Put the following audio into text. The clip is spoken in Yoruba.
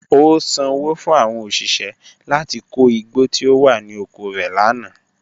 O sanwo fun awọn oṣiṣẹ lati ko igbo ti o wa ni oko rẹ lana.